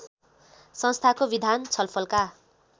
संस्थाको विधान छलफलका